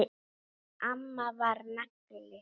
En amma var nagli.